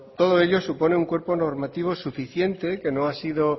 todo ello supone un cuerpo normativo suficiente